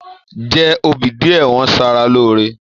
Jẹ obì díẹ̀, wọ́n ṣaara lóore.